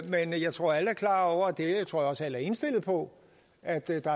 men jeg tror alle er klar over og det tror jeg også alle er indstillet på at der ikke